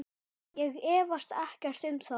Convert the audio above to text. Ég efast ekkert um það.